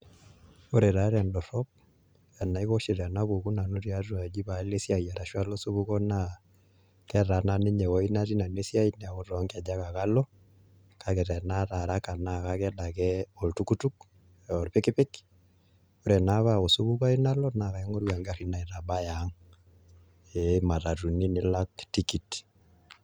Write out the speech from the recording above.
Ore taa tendorrop enaiko oshi tenapuku nanu tiatua aji pealo asiai arashu alo osupuko naa ketaana ninye ewuoi natii nanu esiai neaku too nkejek ake alo kake tenaata araka naa kaked ake oltukutuk aa olpikipik ore naa pee osupuko ayiu nalo naa akaing'oru engarri naitabaya ang' imatatuni nilak tikit